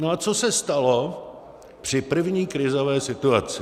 No a co se stalo při první krizové situaci?